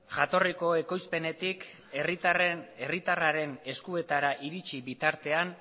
jatorrizko ekoizpenetik herritarraren eskuetara iritsi bitartean